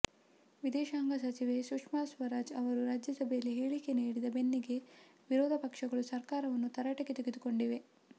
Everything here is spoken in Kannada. ವಿದೇಶಾಂಗ ಸಚಿವೆ ಸುಷ್ಮಾ ಸ್ವರಾಜ್ ಅವರು ರಾಜ್ಯಸಭೆಯಲ್ಲಿ ಹೇಳಿಕೆ ನೀಡಿದ ಬೆನ್ನಿಗೇ ವಿರೋಧ ಪಕ್ಷಗಳು ಸರ್ಕಾರವನ್ನು ತರಾಟೆಗೆ ತೆಗೆದುಕೊಂಡಿವೆ